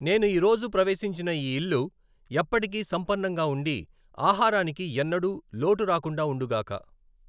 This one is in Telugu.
నేను ఈ రోజు ప్రవేశించిన ఈ ఇల్లు ఎప్పటికీ సంపన్నంగా ఉండి, ఆహారానికి ఎన్నడూ లోటు రాకుండా ఉండుగాక.